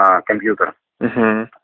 а компьютер угу